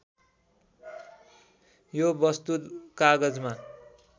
यो वस्तु कागजमा